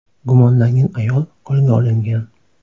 Gumonlangan ayol qo‘lga olingan.